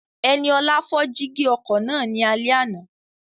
Ẹniọlá fọ́ jígí ọkọ̀ náà ní alẹ́ àná